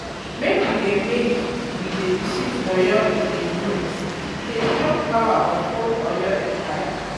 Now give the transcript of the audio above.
Make we dey Make we dey visit Oyo-Ile ruins, um e dey um show um power of old Oyo Empire.